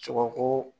Sogoko